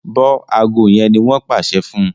bó ago yén ní wón pàṣẹ fún